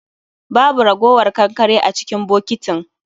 Babu ragowar kankare a cikin bokitin